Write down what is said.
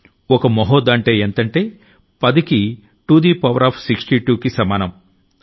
ఓ మహోధ్ అంటే ఎంతంటే 10కి టూది పవర్ ఆఫ్ 62కి సమానం